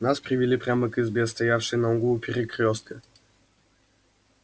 нас привели прямо к избе стоявшей на углу перекрёстка